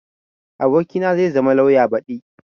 abokina zai zama lauya badi